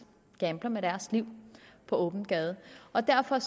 gambler med deres liv på åben gade og derfor